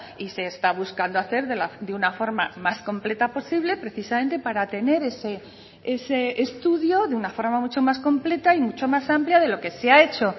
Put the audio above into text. y se está buscando hacer de una forma más completa posible precisamente para tener ese estudio de una forma mucho más completa y mucho más amplia de lo que se ha hecho